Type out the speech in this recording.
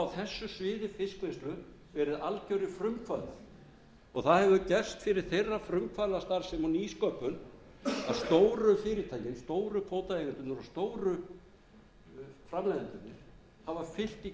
á þessu sviði fiskvinnslu verið algerir frumkvöðlar og það hefur gerst fyrir þeirra frumkvöðlastarfsemi og nýsköpun að stóru fyrirtækin stóru kvótaeigendurnir og stóru framleiðendurnir hafa siglt í kjölfarið hafa farið inn í